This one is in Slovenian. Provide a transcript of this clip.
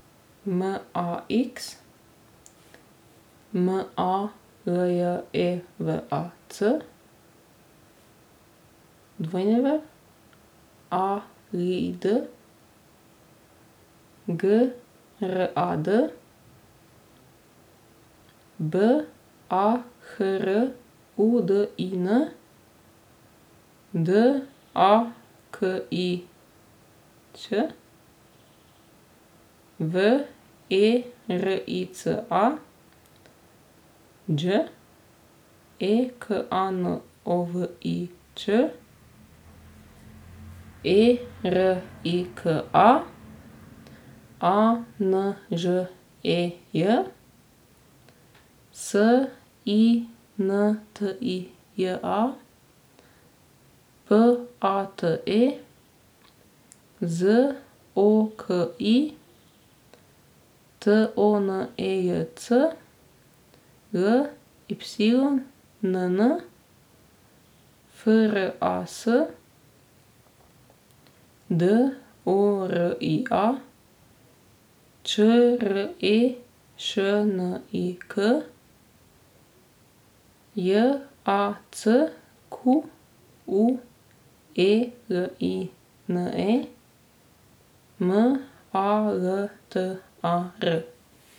M A X, M A L J E V A C; W A L I D, G R A D; B A H R U D I N, D A K I Ć; V E R I C A, Đ E K A N O V I Ć; E R I K A, A N Ž E J; S I N T I J A, P A T E; Z O K I, T O N E J C; L Y N N, F R A S; D O R I A, Č R E Š N I K; J A C Q U E L I N E, M A L T A R.